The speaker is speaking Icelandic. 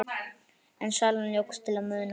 En salan jókst til muna.